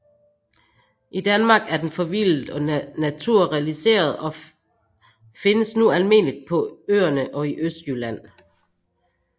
I Danmark er den forvildet og naturaliseret og findes nu almindeligt på Øerne og i Østjylland